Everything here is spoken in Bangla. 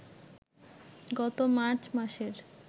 গত মার্চ মাসের